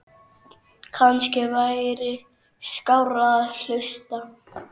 Kannski væri skárra að hlusta